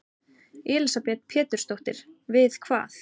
Elísabet Pétursdóttir: Við hvað?